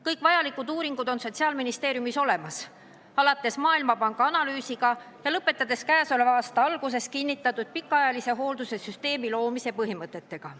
Kõik vajalikud uuringu- ja muud andmed on Sotsiaalministeeriumis olemas, alates Maailmapanga analüüsiga ja lõpetades käesoleva aasta alguses kinnitatud pikaajalise hoolduse süsteemi loomise põhimõtetega.